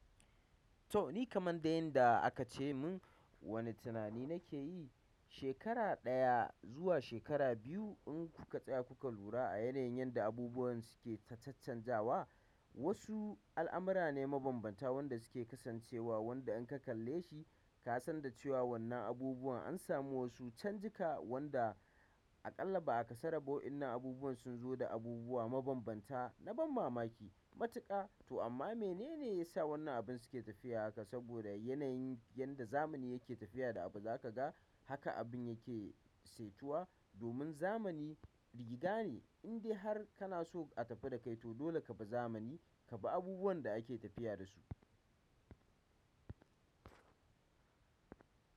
To ni kaman dai yanda aka ce mun wani tunani nake yi, shekara ɗaya zuwa shekara biyu in kuka tsaya kuka lura a yanayin yanda abubuwan suke ta caccan zawa. Wasu al'amura ne mabanbanta wanda suke kasancewa wanda in ka kalle shi ka san da cewa wannan abubuwan an samu wasu canjika wanda. A kalla ba'a kasaru ba wa'inna abubuwan sunzu da abubuwa mabab banta na ban mamaki matuƙa to amma menene yasa wannan abin suke tafiya haka saboda yanayin yanda zamani yake tafiya da abu za ka ga haka abin yake saitewa domin zamani jigida ne indai har kana so a tafi da kai to dole ka bi zamani ka bi abubuwan da ake tafiya da su.